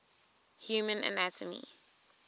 human anatomy